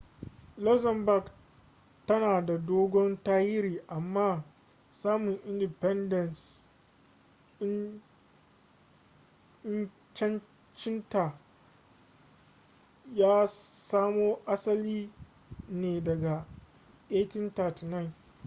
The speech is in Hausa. luxembourg tana da dogon tarihi amma samin independenceancinta ya samo asali ne daga 1839